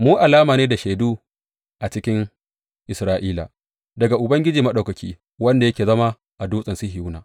Mu alamu ne da shaidu a cikin Isra’ila daga Ubangiji Maɗaukaki, wanda yake zama a Dutsen Sihiyona.